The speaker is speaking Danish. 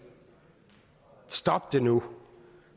stop det nu